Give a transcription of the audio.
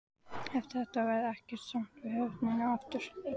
Eftir þetta varð ekkert samt við höfnina aftur.